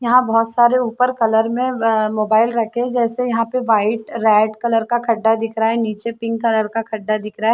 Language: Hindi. यहाँ बहुत सारे ऊपर कलर में मोबाइल रखे है जैसे यहाँ पे वाइट रेड कलर का खड्डा दिख रहा है नीचे पिंक कलर का खड्डा दिख रहा है।